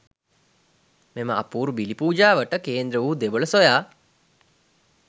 මෙම අපූරු බිලි පූජාවට කේන්ද්‍ර වූ දෙවොල සොයා